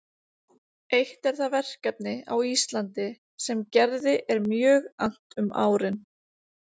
Eitt er það verkefni á Íslandi sem Gerði er mjög annt um árin